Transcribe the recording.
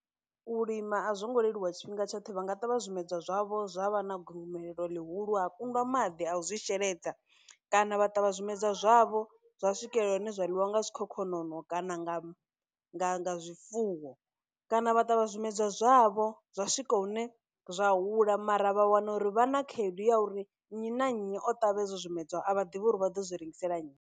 U lima a zwo ngo leluwa tshifhinga tshoṱhe vha nga ṱavha zwimedzwa zwavho zwa vha na gomelelo ḽihulu ha kundwa maḓi a zwi sheledza, kana vha ṱavha zwimedzwa zwavho zwa swikelela hune zwa ḽiwa nga zwikhokhonono kana nga zwifuwo kana vha ṱavha zwimedzwa zwavho zwa swika hune zwa hula mara vha wana uri vha na khaedu ya uri nnyi na nnyi o ṱavha hezwo zwimedzwa a vha ḓivhi uri vha ḓo zwi rengisela nnyi.